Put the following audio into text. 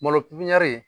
Malo pipiniyɛri